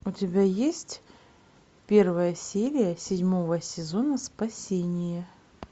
у тебя есть первая серия седьмого сезона спасение